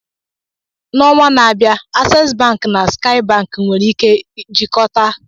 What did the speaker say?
N'ọnwa na-abịa, Aces bank na Skaị bank nwere ike jikọta